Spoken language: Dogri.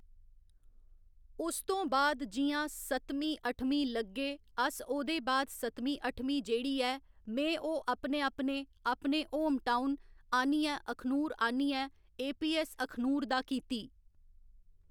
उ'स्स तों बाद जि'यां सत्तमीं अट्ठमीं लग्गे अस ओह्दे बाद सत्तमी अट्ठमीं जेह्ड़ी ऐ में ओह् अपने अपने अपने होम टाऊन आह्न्नियै अखनूर आह्न्नियै एपीऐस्स अखनूर दा कीती।